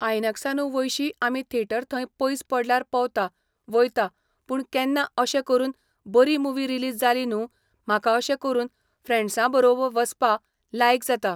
आयनक्सानू वयशी आमी थेटर थंय पयस पडल्यार पवता वयता पूण केन्ना अशें करून बरी मुवी रिलीज जाली न्हू म्हाका अशें करून फ्रँड्सां बरो वसपा लायक जाता.